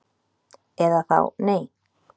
Eða þá nei